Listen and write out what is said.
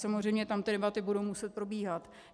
Samozřejmě tam ty debaty budou muset probíhat.